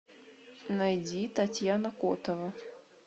найди татьяна котова